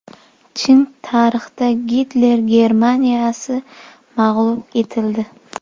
Chin tarixda Gitler Germaniyasi mag‘lub etildi.